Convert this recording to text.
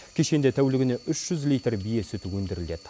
кешенде тәулігіне үш жүз литр бие сүті өндіріледі